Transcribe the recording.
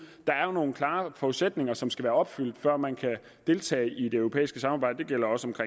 der er jo nogle klare forudsætninger som skal være opfyldt før man kan deltage i det europæiske samarbejde det gælder også med